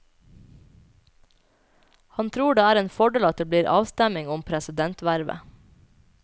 Han tror det er en fordel at det blir avstemning om presidentvervet.